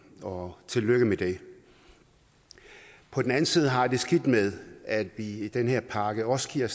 og tillykke med det på den anden side har jeg det skidt med at vi i den her pakke også giver